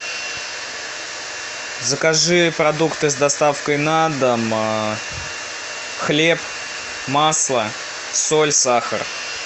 закажи продукты с доставкой на дом хлеб масло соль сахар